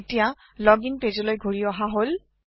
এতিয়া লোগিং পেজলৈ ঘূৰি অহা হল